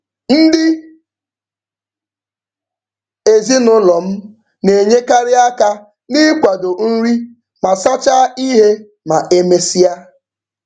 Ndị ezinụụlọ m na-enyekarị aka n'ịkwado nri ma sachaa ihe ma e mesịa.